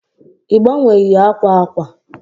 i gbanweghi akwa akwa?